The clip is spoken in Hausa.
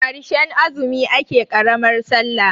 karshen azumi ake karamar sallah